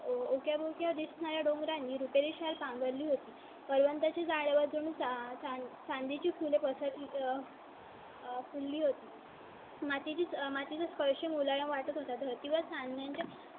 च्या बोलते आधीच नाही डोंगरांनी रुपये शाल पांघर ली होती. पर्यंतची जाळून चांदी ची फुले पळसा. मातीच माती चा स्पर्श मुलांना वाटणार धर्तीवर सांगण्या ची